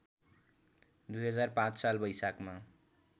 २००५ साल वैशाखमा